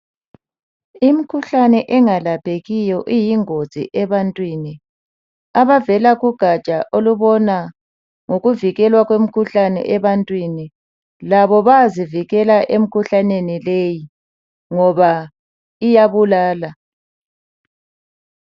Imikhuhlane engalaphekiyo iyingozi ebantwini. Abavela kugatsha olubona ngokuvikelwa kwemikhuhlane ebantwini labo bayazivikela emikhuhlaneni leyi ngoba iyabulala.